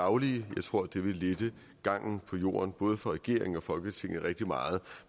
daglige jeg tror at det ville lette gangen på jorden både for regeringen og folketinget rigtig meget